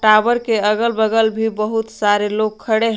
Tower के अगल बगल भी बहुत सारे लोग खड़े हैं।